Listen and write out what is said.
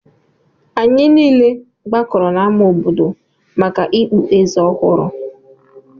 Anyị niile gbakọrọ n'ámá obodo maka ikpu eze ọhụrụ